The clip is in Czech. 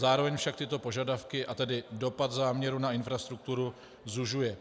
Zároveň však tyto požadavky, a tedy dopad záměru na infrastrukturu zužuje.